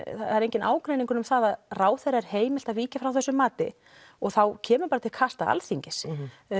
það er enginn ágreiningur um það að ráðherra er heimilt að víkja frá þessu mati og þá kemur bara til kasta Alþingis